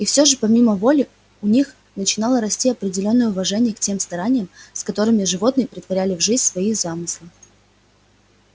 и все же помимо воли у них начинало расти определённое уважение к тем стараниям с которыми животные претворяли в жизнь свои замыслы